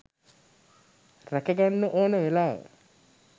රැක ගන්න ඕන වෙලාව.